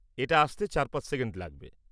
এটা আসতে ৪-৫ সেকেন্ড লাগবে।